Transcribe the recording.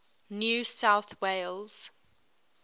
new south wales